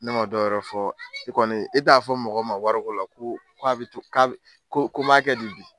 Ne ma dɔwɛrɛ fɔ i kɔni i t'a fɔ mɔgɔ ma wari ko la ko n b'a kɛ di bi?